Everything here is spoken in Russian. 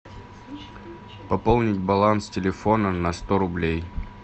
пополнить баланс телефона на сто рублей